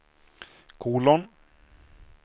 kolon